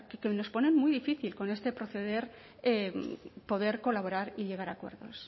que nos ponen muy difícil con este proceder poder colaborar y llegar a acuerdos